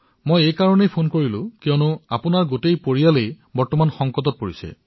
মই ফোন এইবাবেই কৰিছো কিয়নো আপোনাৰ সমগ্ৰ পৰিয়ালটো এই সংকটত আক্ৰান্ত হৈছিল